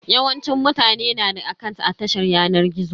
Yawancin mutane na da akant a tashar yanar gizo.